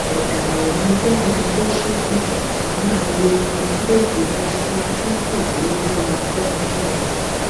ọdàlẹ ni fẹmi adésínà á máa wo ibi tí yóò fojú sí tí buhari bá lọafẹnifẹre